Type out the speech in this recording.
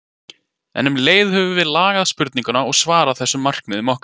En um leið höfum við lagað spurningu og svar að þessum markmiðum okkar.